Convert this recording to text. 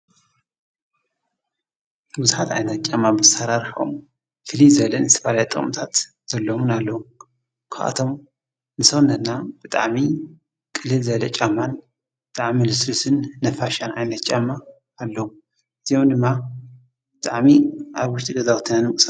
ብዙሓት ዓይነት ጫማ ብኣሰራርሐኦም ፍልይ ዝበሉ ዝተፈላለዩ ጥቕምታት ዘለዎም ኣለው ካብኣቶም ንሰውነትና ብጣዕሚ ቅልል ዝበለ ጫማን ብጣዕሚ ልስሉስን ነፋሻን ዓይነት ጫማ ኣለው እዚኦም እውን ብጣዕሚ ኣብ ውሽጢ ገዛውትና ንምንቅስቓስ።